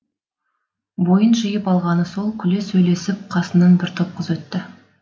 бойын жиып алғаны сол күле сөйлесіп қасынан бір топ қыз өтті